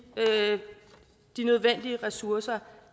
nødvendige ressourcer